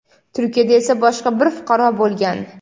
Turkiyada esa boshqa bir fuqaro bo‘lgan.